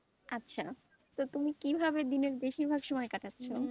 আচ্ছা, তো তুমি কিভাবে দিনের বেশিরভাগ সময় কাটাচ্ছো?